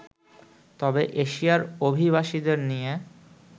তবে এশিয়ার অভিবাসীদের নিয়ে